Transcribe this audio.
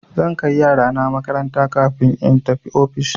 Zan kai yarana makaranta kafin in tafi ofis.